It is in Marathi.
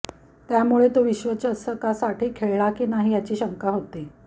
त्यामुळे तो विश्वचषकासाठी खळेल की नाहूी याची शंका होती